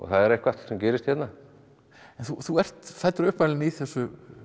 er eitthvað sem gerist hérna en þú ert uppalinn í þessu